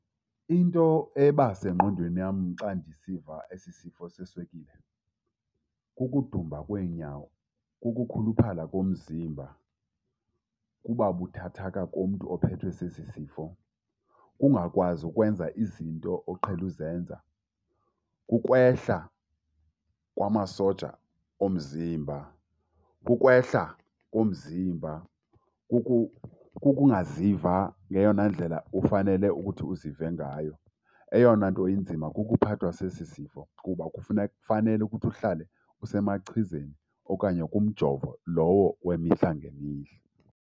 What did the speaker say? Into ebasengqondweni yam xa ndisiva esi sifo seswekile, kukudumba kweenyawo, kukukhuluphala komzimba. Kuba buthathaka komntu ophethwe sesi sifo, kungakwazi ukwenza izinto oqhele uzenza, kukwehla kwamasoja omzimba, kukwehla komzimba, kukungaziva ngeyona ndlela ufanele ukuthi uzive ngayo. Eyona nto inzima kukuphathwa sesi sifo kuba fanele ukuthi uhlale usemachizeni okanye kumjovo lowo wemihla ngemihla.